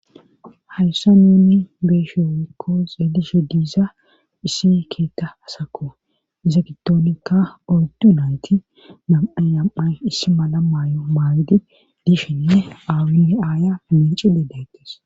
hayssa nuni beeshewoykko xeelishe diiza issi keetta asako iza gittoonikka oydu nayti nam7ayam7ay issi mala maay7o maagidi dishinne aawinne aaya paminci dedaytes